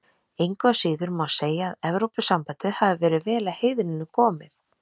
Engu að síður má segja að Evrópusambandið hafi verið vel að heiðrinum komið.